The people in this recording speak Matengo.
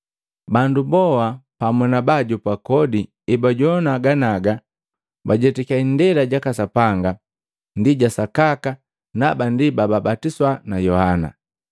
Bandu boa pamu na baajopa kodi ebajowana ganiaga bajetakiya indela jaka Sapanga ndi ja sakaka na haba ndi bababatiswa na Yohana.